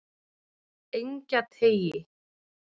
Engjateigi